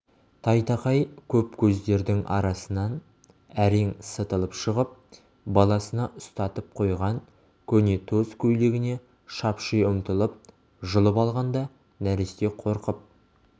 тайтақай көп көздердің арасынан әрең сытылып шығып баласына ұстатып қойған көнетоз көйлегіне шапши ұмтылып жұлып алғанда нәресте қорқып